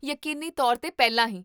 ਯਕੀਨੀ ਤੌਰ 'ਤੇ ਪਹਿਲਾਂ ਹੀ